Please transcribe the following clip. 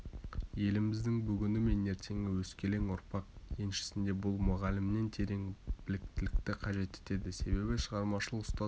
еліміздің бүгіні мен ертеңі өскелең ұрпақ еншісінде бұл мұғалімнен терең біліктілікті қажет етеді себебі шығармашыл ұстаз